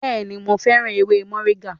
Bẹẹni, mo féràn ewé moringa